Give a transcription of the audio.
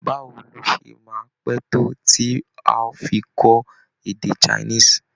Báwo ló ṣe máa pé tó tí á fi kọ́ èdè Chinese?